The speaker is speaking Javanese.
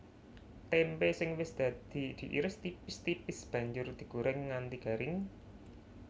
Témpé sing wis dadi diiris tipis tipis banjur digorèng nganti garing